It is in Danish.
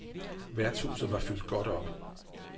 Værtshuset var fyldt godt op.